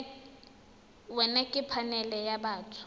wena ke phanele ya batho